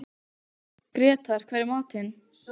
Grétar, hvað er í matinn?